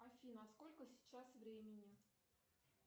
афина сколько сейчас времени